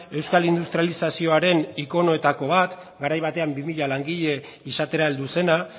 euskal industrializazioaren ikonoetako bat garai batean bi mila langile izatera heldu zena